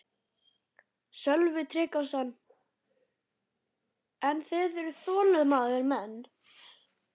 Sölvi Tryggvason: En þið eruð þolinmóðir menn?